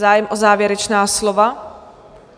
Zájem o závěrečná slova?